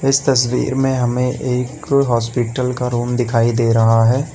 इस तस्वीर में हमें एक हॉस्पिटल का रूम दिखाई दे रहा है।